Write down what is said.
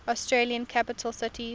australian capital cities